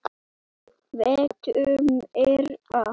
VILTU MEIRA?